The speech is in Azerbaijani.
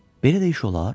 Belə də iş olar?